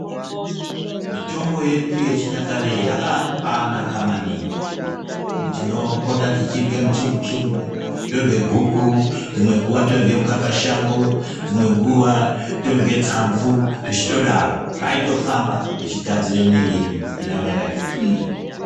mitombo yedu yechinyakare yakabaanaka maningi tinopota tichirye mutsungutsungu torye guku dzimwe nguwa torye mukakashango dzimwe nguwa todye tsamvu, zvechitodaro zvaitofamba tichigadzire mwiiri yedu kuti irambe yakati twii.